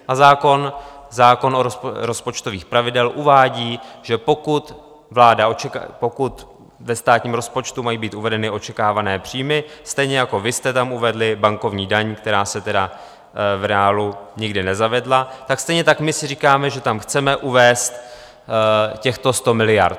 A zákon o rozpočtových pravidlech uvádí, že pokud ve státním rozpočtu mají být uvedeny očekávané příjmy, stejně jako vy jste tam uvedli bankovní daň, která se tedy v reálu nikdy nezavedla, tak stejně tak my si říkáme, že tam chceme uvést těchto 100 miliard.